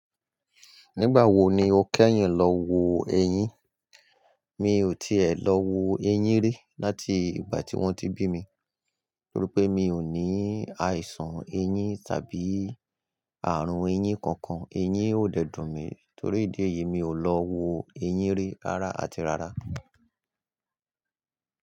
Nígbà wo ni o kẹ́yìn lọ wo eyín? Mi ò tí è lọ wo eyín rí láti ìgbà tí wọ́n ti bí mi, torí pé mi ò ní àìsàn eyín tàbí àrùn eyín kankan. Eyín ò dẹ́ dùn mi torí ìdí èyí mi ò lọ wo eyín rí rárá àti rárá.